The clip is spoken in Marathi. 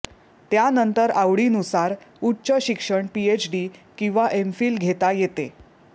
त्यानंतर आवडीनुसार उच्च शिक्षण पीएचडी किंवा एमफील घेता येते